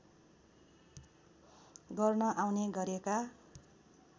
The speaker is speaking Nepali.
गर्न आउने गरेका